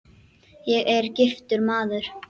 Ég er: giftur maður.